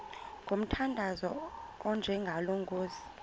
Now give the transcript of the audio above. ngomthandazo onjengalo nkosi